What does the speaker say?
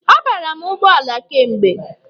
A bara m ụgbọala kemgbe.